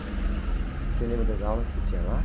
E você lembra das aulas que você tinha lá?